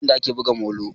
Eh nasan yadda ake buga molo